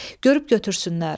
Görüb götürsünlər.